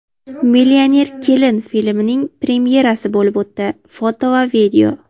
"Millioner kelin" filmining premyerasi bo‘lib o‘tdi (foto va video).